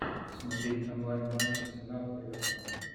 смотреть онлайн матч арсенал эвертон